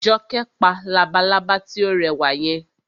Jọkẹ́ pa labalábá tí ó rẹwà yẹn